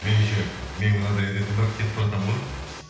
меніңше менің мынадай әдетім бар кетіп баратам ғой